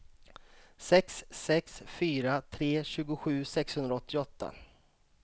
sex sex fyra tre tjugosju sexhundraåttioåtta